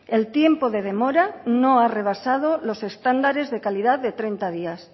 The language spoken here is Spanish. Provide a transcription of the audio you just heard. el tiempo de demora no ha rebasado los estándares de calidad de treinta días